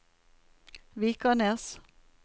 Vikanes